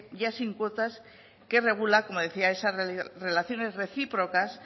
ya sin cuotas que regula como decía esas relaciones recíprocas